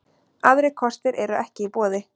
Aðrir kostir eru ekki í boði